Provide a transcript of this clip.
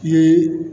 Ye